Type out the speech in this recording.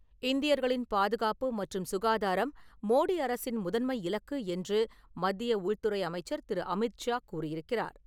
இந்தியர்களின் பாதுகாப்பு மற்றும் சுகாதாரம் மோடி அரசின் முதன்மை இலக்கு என்று மத்திய உள்துறை அமைச்சர் திரு. அமித்ஷா கூறியிருக்கிறார்.